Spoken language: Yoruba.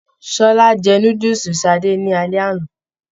Ṣọlá jẹ núdúsí Sadé ni alẹ́ àná.